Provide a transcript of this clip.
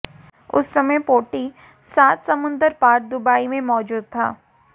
उस समय पोंटी सात समुंदर पार दुबई में मौजूद था